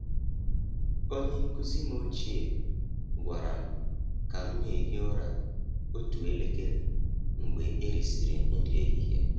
Onye nkụzi m ochie gwara m ka m na-ehi ụra otu elekere mgbe erisịrị nri ehihie.